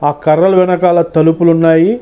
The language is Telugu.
ఆ కర్రల వెనకాల తలుపులు ఉన్నాయి.